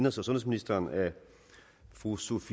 og sundhedsministeren af fru sophie